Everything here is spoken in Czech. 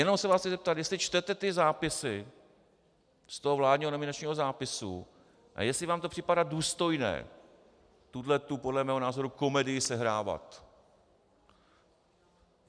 Jenom se vás chci zeptat, jestli čtete ty zápisy z toho vládního nominačního zápisu a jestli vám to připadá důstojné tuhletu podle mého názoru komedii sehrávat.